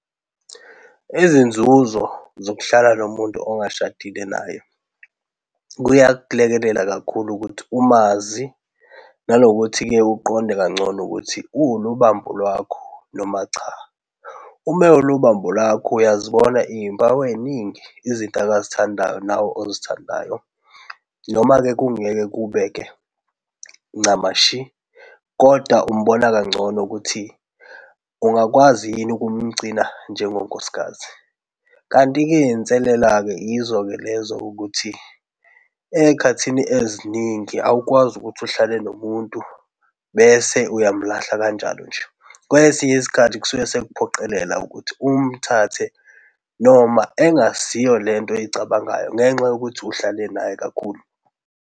Izinzuzo zokuhlala nomuntu ongashadile naye, kuyakulekelela kakhulu ukuthi umazi nanokuthi-ke uqonde kangcono ukuthi uwulubambo lwakho noma cha. Uma ewulubambo lwakho uyazibona izimpawu eziningi. Izinto akazithandayo nawe ozithandayo. Noma-ke kungeke kube-ke ncamashi kodwa umbona kangcono ukuthi ungakwazi yini ukumgcina njengonkosikazi. Kanti-ke izinselela-ke yizo-ke lezo ukuthi ezikhathini eziningi, awukwazi ukuthi uhlale nomuntu bese uyamlahla kanjalo nje. Kwesinye isikhathi kusuke sekuphoqelela ukuthi umthathe noma engasiyo lento oyicabangayo ngenxa yokuthi uhlale naye kakhulu.